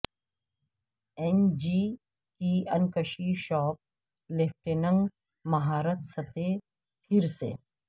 N G کی انکشی shoplifting مہارت سطح پھر سے